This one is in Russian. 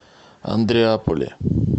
андреаполе